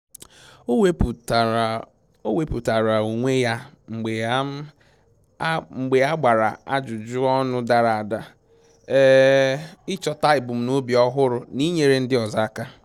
O wepụtara O wepụtara onwe ya mgbe a um gbara ajụjụ ọnụ dara ada, um ịchọta ebumnobi ọhụrụ n'inyere ndị ọzọ aka